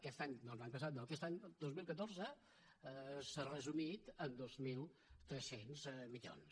aquest any doncs l’any passat no aquest any dos mil catorze s’ha resumit en dos mil tres cents milions